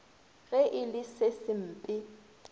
ge e le se sempe